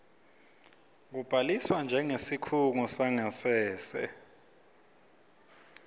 kubhaliswa njengesikhungo sangasese